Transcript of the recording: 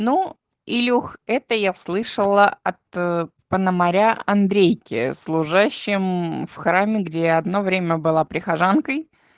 ну илюха это я слышала от пономаря андрейки служащим в храме где я одно время была прихожанкой